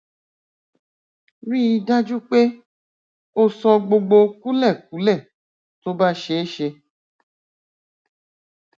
ríi dájú pé o sọ gbogbo kúlẹkúlẹ tó bá ṣeé ṣe